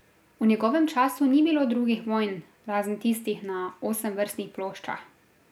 V njegovem času ni bilo drugih vojn razen tistih na osemvrstnih ploščah.